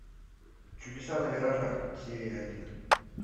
чудеса на виражах серия один